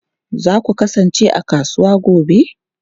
Za ku kasance a kasuwa gobe?